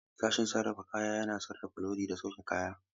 Sashen sarrafa kaya yana sarrafa lodi da sauke kaya.